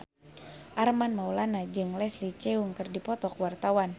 Armand Maulana jeung Leslie Cheung keur dipoto ku wartawan